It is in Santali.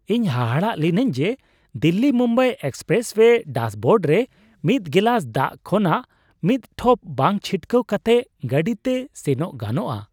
ᱤᱧ ᱦᱟᱦᱟᱲᱟᱜ ᱞᱤᱱᱟᱹᱧ ᱡᱮ ᱫᱤᱞᱞᱤᱼᱢᱩᱢᱵᱟᱭ ᱮᱠᱥᱯᱨᱮᱥᱳᱭᱮ ᱰᱟᱥᱵᱳᱨᱰ ᱨᱮ ᱢᱤᱫ ᱜᱮᱞᱟᱥ ᱫᱟᱜ ᱠᱷᱚᱱᱟᱜ ᱢᱤᱫ ᱴᱷᱚᱯ ᱵᱟᱝ ᱪᱷᱤᱴᱠᱟᱹᱣ ᱠᱟᱛᱮ ᱜᱟᱹᱰᱤᱛᱮ ᱥᱮᱱᱚᱜ ᱜᱟᱱᱚᱜᱼᱟ ᱾